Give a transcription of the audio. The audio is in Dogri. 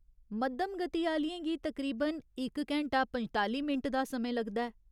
मद्धम गति आह्‌लियें गी तकरीबन इक घैंटा पंजताली मिंट दा समें लगदा ऐ।